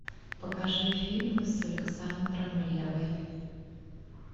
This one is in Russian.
покажи фильмы с александром реввой